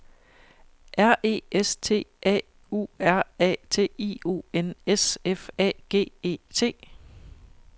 R E S T A U R A T I O N S F A G E T